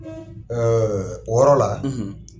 o yɔrɔ la,